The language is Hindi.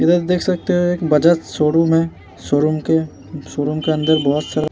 इधर देख सकते है एक बजाज शोरूम है शोरूम के शोरूम के अंदर बहुत सारा --